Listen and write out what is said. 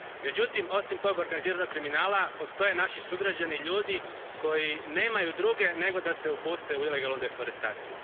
Međutim osim tog organiziranog kriminala postoje naši sugrađani, ljudi koji nemaju druge nego da se upuste u ilegalnu deforestaciju.